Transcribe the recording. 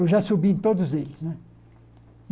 Eu já subi em todos eles né.